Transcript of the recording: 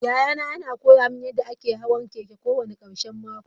Yayana yana koya mini yadda ake hawan keke kowane karshen mako.